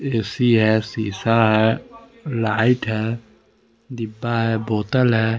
AC है शीशा है लाइट है डिब्बा है बोतल है।